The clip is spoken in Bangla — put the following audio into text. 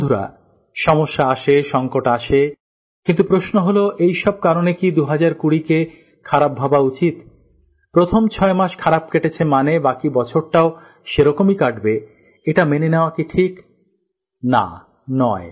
বন্ধুরা সমস্যা আসে সংকট আসে কিন্তু প্রশ্ন হলো এইসব কারনে কি ২০২০কে খারাপ ভাবা উচিত প্রথম ছয় মাস খারাপ কেটেছে মানে বাকি বছরটাও সেরকমই কাটবে এইটা মেনে নেওয়া কি ঠিক না নয়